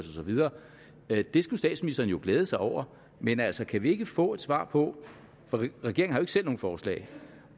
det skulle statsministeren jo glæde sig over men altså kan vi ikke få et svar på for regeringen har selv nogen forslag